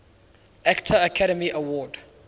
actor academy award